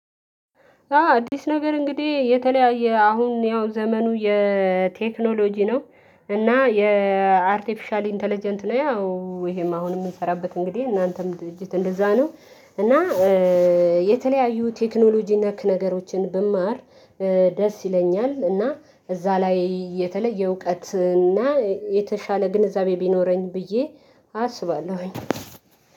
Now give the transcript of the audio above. አዎ አዲስ ነገር እንግዲህ የተለያየ አሁን ያው ዘመኑ የቴክኖሎጂ ነው። እና የአርቲፊሻሊ ኢንተለጀንት ነው ያው ይሄም አሁን የምንሰራበት እንግዲህ እናንተም ድርጅት እንደዚያ ነው። እና የተለያዩ ቴክኖሎጂ ነክ ነገሮችን ብማር። ደስ ይለኛል እና እዚያ ላይ የተለየ እውቀት እና የተሻለ ግንዛቤ ቢኖረኝ ብዬ አስባለሁኝ